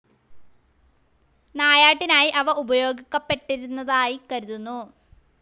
നായാട്ടിനായി അവ ഉപയോഗിക്കപ്പെട്ടിരുന്നതായി കരുതുന്നു.